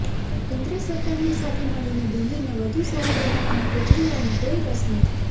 કેન્દ્ર સરકારની સાથે મળીને દિલ્હીને વધુ સારી બનાવવામાં કેજરીવાલને કોઈ રસ નથી